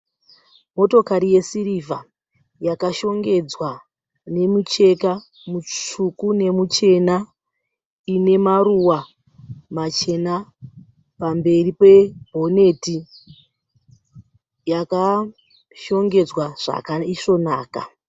Motokari yesirivha yakashongedzwa nemucheka mutsvuku nemuchena. Ine maruva machena pamberi pebhoneti, yakashongedzwa zvakaisvonaka.